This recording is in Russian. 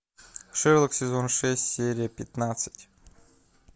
шерлок сезон шесть серия пятнадцать